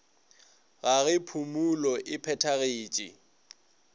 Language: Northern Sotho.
ga ge phumulo e phethagetše